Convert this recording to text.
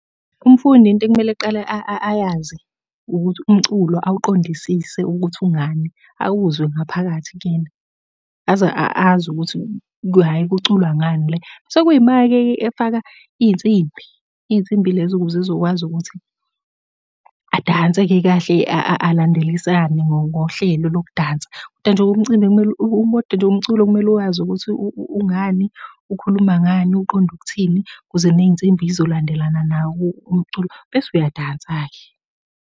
Umfundi into ekumele aqale ayazi, ukuthi umculo awuqondisise ukuthi ungani awuzwe ngaphakathi kuyena, aze azi ukuthi hhayi kuculwa ngani le. Sekuyima-ke ke efaka iy'nsimbi. Iy'nsimbi lezo ukuze ezokwazi ukuthi adanse-ke kahle alandelisane ngohlelo lokudansa, koda nje umcimbi kumele , koda nje umculo kumele uwazi ukuthi ungani, ukhuluma ngani, uqonde ukuthini, ukuze ney'nsimbi iy'zolandelana nawo umculo, bese uyadansa-ke.